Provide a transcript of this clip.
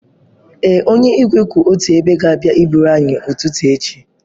Ee, onye igwe kwụ otu ebe ga-abịa eburu anyị ụtụtụ echi.